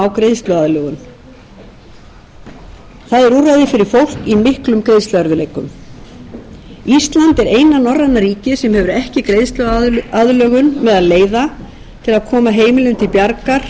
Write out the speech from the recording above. greiðsluaðlögun það er úrræði fyrir fólk í miklum greiðsluerfiðleikum ísland er eina norræna ríkið sem hefur ekki greiðsluaðlögun meðal leiða til að koma heimilum til bjargar í